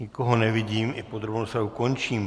Nikoho nevidím, i podrobnou rozpravu končím.